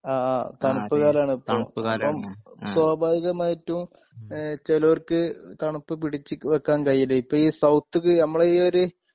ആ തണുപ്പ് ഇപ്പം സ്വാഭാവികമായിട്ടും ഏഹ് ചേലോർക്ക് തണുപ്പ് പിടിച്ചുവെക്കാൻ കഴിയില്ല ഇപ്പോ ഈ സൗത്ത്ക്ക് നമ്മുടെ ഈ ഒരു